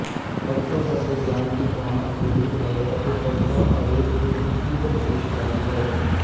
ਕਵਿਤਾ ਸਾਡੇ ਗਿਆਨ ਦੀ ਪ੍ਰਾਣ ਅਤੇ ਰੂਹ ਹੈ ਅਤੇ ਕਵਿਤਾ ਆਵੇਗਪੂਰਨ ਤੀਬਰ ਪੇਸ਼ਕਾਰੀ ਹੈ